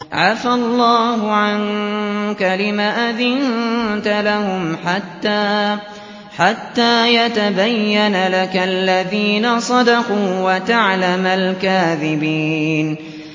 عَفَا اللَّهُ عَنكَ لِمَ أَذِنتَ لَهُمْ حَتَّىٰ يَتَبَيَّنَ لَكَ الَّذِينَ صَدَقُوا وَتَعْلَمَ الْكَاذِبِينَ